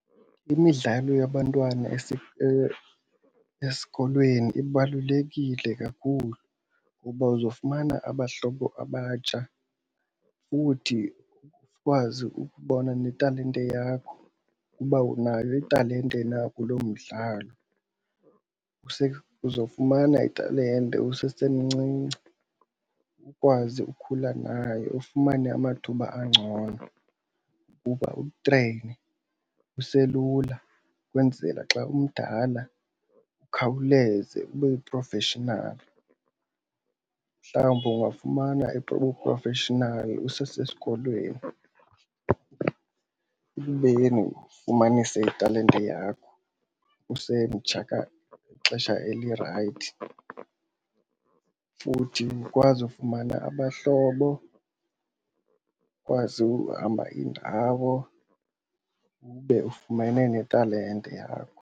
Imidlalo yabantwana esikolweni ibalulekile kakhulu ngoba uzofumana abahlobo abatsha futhi ukwazi ukubona netalente yakho ukuba unayo italente na kuloo mdlalo. Uzofumana italente usesemncinci ukwazi ukhula nayo ufumane amathuba angcono ukuba utreyine uselula ukwenzela xa umdala ukhawuleze ube yi-professional. Mhlawumbi ungafumana ubu-professional usesesikolweni ube ke ngoku ufumanise italente yakho usemtsha, ixesha elirayithi. Futhi ukwazi ufumana abahlobo, ukwazi uhamba iindawo ube ufumene netalente yakho.